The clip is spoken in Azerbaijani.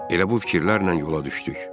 Elə bu fikirlərlə yola düşdük.